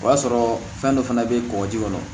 O y'a sɔrɔ fɛn dɔ fana bɛ kɔgɔji kɔnɔ